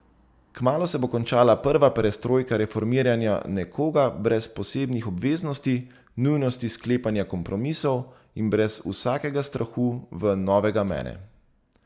Kmalu se bo končala prva perestrojka reformiranja nekoga brez posebnih obveznosti, nujnosti sklepanja kompromisov in brez vsakega strahu v novega mene.